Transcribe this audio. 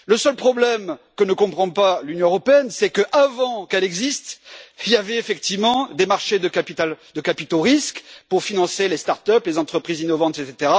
Le seul problème que ne comprend pas l'Union européenne, c'est que, avant qu'elle existe, il y avait effectivement des marchés de capitaux risques pour financer les start up, les entreprises innovantes, etc.,